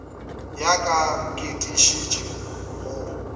ya ka ke tiišetša go